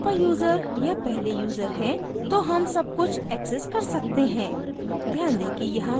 क्योकि हम superuser या पहले यूजर हैं तो हम सबकुछ access कर सकते हैं